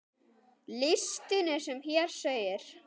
Listinn er sem hér segir